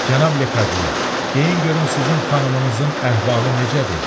Cənab Lekadye, deyin görüm sizin xanımınızın əhvalı necədir?